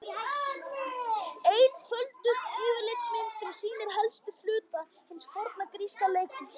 Einfölduð yfirlitsmynd sem sýnir helstu hluta hins forna gríska leikhúss.